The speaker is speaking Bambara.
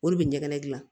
O de bɛ ɲɛgɛnɛ gilan